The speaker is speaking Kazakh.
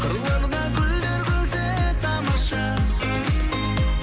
қырларда гүлдер күлсе тамаша